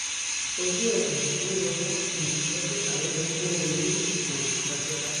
ojú ẹ um ń wò um dókítà ó yẹ kó o rí um dókítà